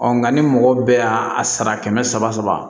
nka ni mɔgɔ bɛɛ y'a a sara kɛmɛ saba